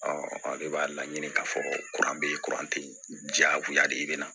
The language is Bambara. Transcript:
de b'a laɲini ka fɔ bɛ yen jagoya de ye i bɛ na